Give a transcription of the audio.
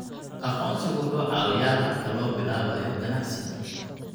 Aqoonsigu wuxuu caawiyaa habka loo bilaabayo ganacsiga.